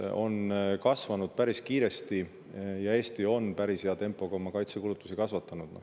Kaitsekulutused on kasvanud päris kiiresti ja Eesti on päris hea tempoga neid kasvatanud.